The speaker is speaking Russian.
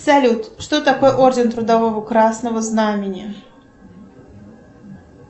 салют что такое орден трудового красного знамени